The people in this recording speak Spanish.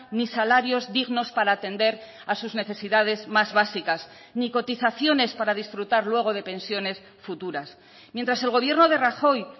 ni salarios dignos para atender a sus necesidades más básicas ni cotizaciones para disfrutar luego de pensiones futuras mientras el gobierno de rajoy